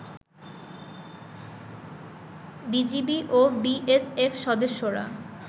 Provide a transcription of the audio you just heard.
BGB ও BSF সদস্যরা